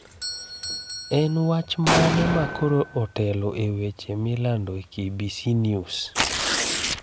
En wach mane ma koro otelo e weche milando e KBC News?